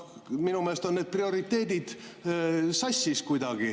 Minu meelest on need prioriteedid kuidagi sassis.